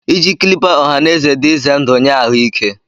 Iji clipper ọha na eze dị ize ndụ nye ahụike